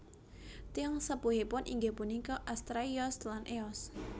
Tiyang sepuhipun inggih punika Astraios lan Eos